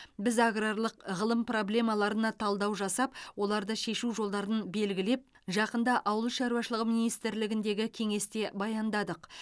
біз аграрлық ғылым проблемаларына талдау жасап оларды шешу жолдарын белгіліп жақында ауыл шаруашылығы министрлігіндегі кеңесте баяндадық